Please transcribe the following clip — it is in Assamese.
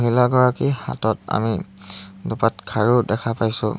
মহিলা গৰাকীৰ হাতত আমি দুপাত খাৰু দেখা পাইছোঁ।